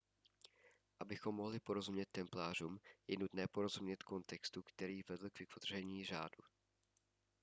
abychom mohli porozumět templářům je nutné porozumět kontextu který vedl k vytvoření řádu